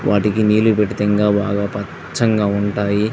వాటికి నీళ్లు పెడితే ఇంకా బాగా పచ్చంగా ఉంటాయి.